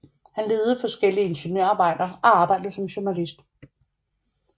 Han ledede forskellige ingeniørarbejder og arbejdede som journalist